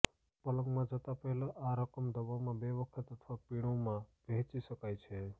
પલંગમાં જતાં પહેલાં આ રકમ દવામાં બે વખત અથવા પીણુંમાં વહેંચી શકાય છે